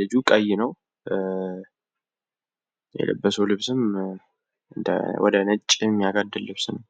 ልጅ ቀይ ነው፣ የለበሰዉ ልብስም ወደ ነጭ ሚያጋድል ነው።